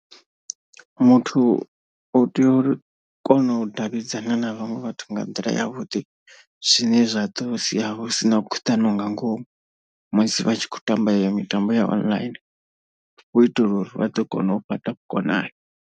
Muthu u tea uri kona u davhidzana na vhaṅwe vhathu nga nḓila yavhuḓi zwine zwa ḓo sia hu sina khuḓano nga ngomu. Musi vhatshi kho tamba iyo mitambo ya online hu itela uri vha ḓo kona u fhaṱa vhukonani.